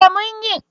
Eh mun yi.